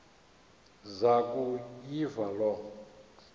zaku yiva loo